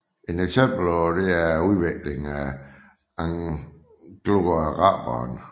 Et eksempel herpå er udviklingen af angloaraberen